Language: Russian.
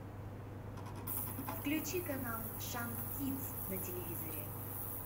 включи канал шант кидс на телевизоре